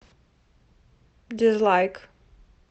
дизлайк